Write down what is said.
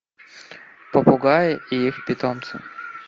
попугаи и их питомцы